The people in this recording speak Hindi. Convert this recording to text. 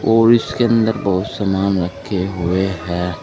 और इसके अंदर बहुत सामान रखे हुए हैं।